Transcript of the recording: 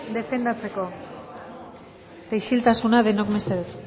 defendatzeko eta isiltasuna denok mesedez